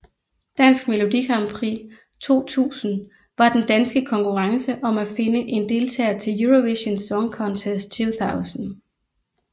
Dansk Melodi Grand Prix 2000 var den danske konkurrence om at finde en deltager til Eurovision Song Contest 2000